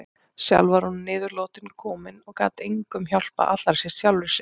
Sjálf var hún að niðurlotum komin og gat engum hjálpað, allra síst sjálfri sér.